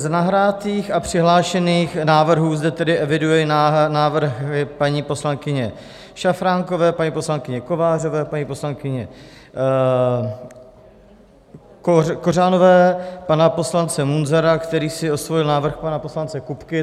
Z nahraných a přihlášených návrhů zde tedy eviduji návrhy paní poslankyně Šafránkové, paní poslankyně Kovářové, paní poslankyně Kořanové, pana poslance Munzara, který si osvojil návrh pana poslance Kupky.